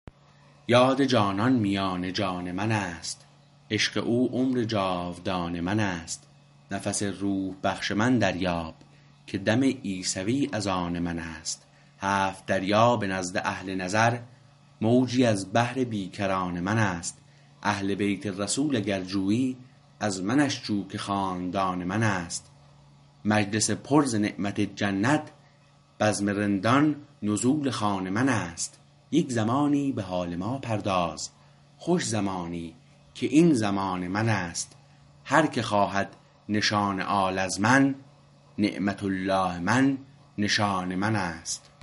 یاد جانان میان جان من است عشق او عمر جاودان من است نفس روح بخش من دریاب که دم عیسوی از آن من است هفت دریا به نزد اهل نظر موجی از بحر بیکران من است اهل بیت رسول اگر جویی از منش جو که خاندان من است مجلس پر ز نعمت جنت بزم رندان نزول خوان من است یک زمانی به حال ما پرداز خوش زمانی که این زمان من است هر که خواهد نشان آل از من نعمت الله من نشان من است